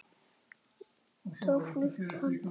Þá flutti hann þangað.